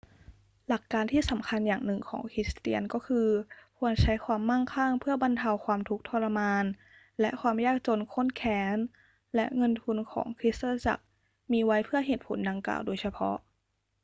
หลักการที่สำคัญอย่างหนึ่งของคริสเตียนก็คือ ควรใช้ความมั่งคั่งเพื่อบรรเทาความทุกข์ทรมานและความยากจนข้นแค้น และเงินทุนของคริสตจักรมีไว้เพื่อเหตุผลดังกล่าวโดยเฉพาะ